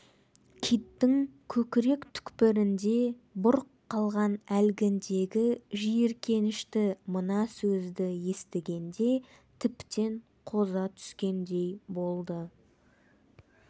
киттің көкірек түкпірінде бұрқ қалған әлгіндегі жиіркенішті мына сөзді естігенде тіптен қоза түскендей болды